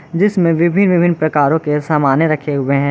जिसमे में विभिन्न विभिन्न प्रकारों के सामाने रखे हुए हैं।